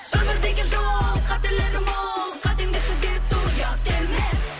өмір деген жол қателері мол қатеңді түзету ұят емес